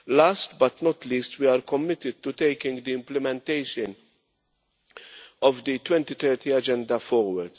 Last but not least, we are committed to taking the implementation of the 2030 Agenda forward.